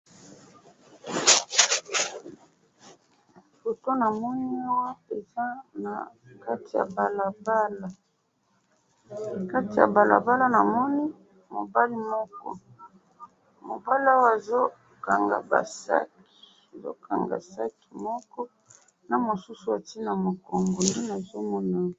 Foto namoni awa eza nakati yabalabala, Kati yabalabala namoni mobali moko, mobali oyo azokanga ba sac, azokanga sac moko, namosusu atye namukongo, ndenazomona awa.